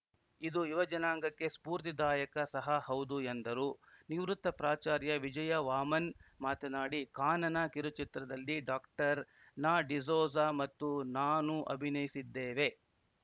ಇದು ಯುವಜನಾಂಗಕ್ಕೆ ಸ್ಫೂರ್ತಿದಾಯಕ ಸಹ ಹೌದು ಎಂದರು ನಿವೃತ್ತ ಪ್ರಾಚಾರ್ಯ ವಿಜಯವಾಮನ್‌ ಮಾತನಾಡಿ ಕಾನನ ಕಿರುಚಿತ್ರದಲ್ಲಿ ಡಾಕ್ಟರ್ ನಾಡಿಸೋಜ ಮತ್ತು ನಾನು ಅಭಿಯಯಿಸಿದ್ದೇವೆ